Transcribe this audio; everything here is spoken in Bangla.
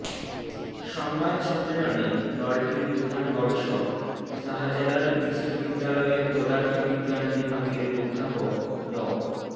সংবাদ সম্মেলনে দলটির প্রধান গবেষক শাহজালাল বিশ্ববিদ্যালয়ের পদার্থবিজ্ঞান বিভাগের অধ্যাপক ড